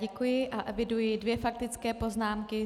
Děkuji a eviduji dvě faktické poznámky.